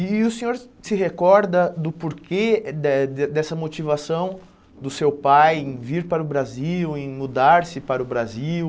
E o senhor se recorda do porquê de dessa motivação do seu pai em vir para o Brasil, em mudar-se para o Brasil?